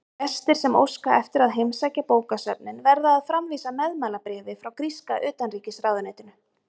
Gestir sem óska eftir að heimsækja bókasöfnin verða að framvísa meðmælabréfi frá gríska utanríkisráðuneytinu.